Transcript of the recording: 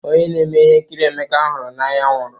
Onye na-eme ihe nkiri Emeka hụrụ n'anya nwụrụ.